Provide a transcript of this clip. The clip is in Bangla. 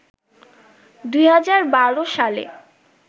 ২০১২ সালে